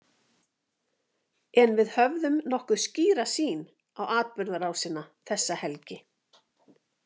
En við höfum nokkuð skýra sýn á atburðarásina þessa helgi.